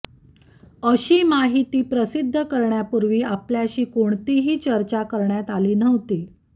अशी माहिती प्रसिद्ध करण्यापूर्वी आपल्याशी कोणतीही चर्चा करण्यात आली नव्हती